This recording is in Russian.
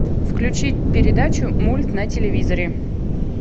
включи передачу мульт на телевизоре